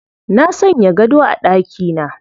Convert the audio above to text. Na sanya gado a ɗakina